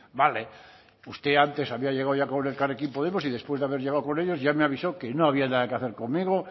vale usted antes había llegado elkarrekin podemos y después de haber llegado con ellos ya me avisó que no había nada que hacer conmigo